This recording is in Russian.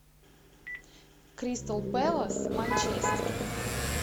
кристал пэлас манчестер